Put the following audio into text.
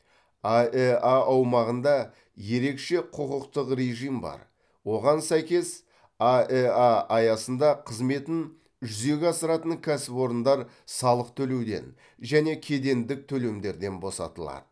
аэа аумағында ерекше құқықтық режим бар оған сәйкес аэа аясында қызметін жүзеге асыратын кәсіпорындар салық төлеуден және кедендік төлемдерден босатылады